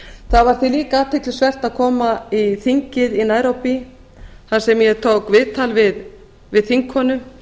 það var því líka athyglisvert að koma í þingið í nairobi þar sem ég tók viðtal við þingkonu